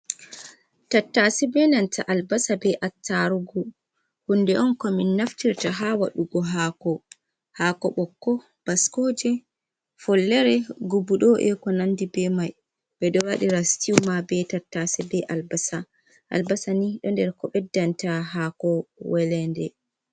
Tattase be nanta albasa, be attarugu. hunde on ko min naftirta ha wadugo haako, haako ɓokko, baskooje, follere, guɓudo eko nandi be mai. ɓedo waɗira sitiuuma be tattase be albasa, albasa ni do nder ko ɓeddanta haako weleede.